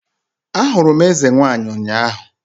Ahụrụ m eze nwanyị ụnyahụ